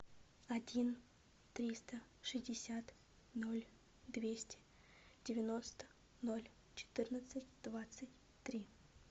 один триста шестьдесят ноль двести девяносто ноль четырнадцать двадцать три